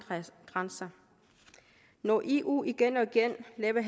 grænser når eu igen og igen laver